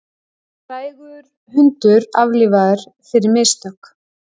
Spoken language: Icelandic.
Frægur hundur aflífaður fyrir mistök